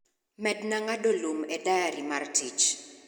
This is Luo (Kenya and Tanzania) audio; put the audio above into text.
Medna ngado Lum ,e dayari mar tich